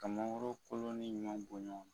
Ka mankoro kolon ni ɲumanw bɔ ɲɔn na.